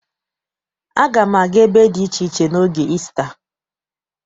Aga m aga ebe dị iche iche n'oge Isita.